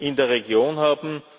in der Region haben.